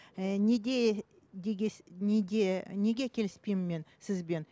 ііі неге неге неге келіспеймін мен сізбен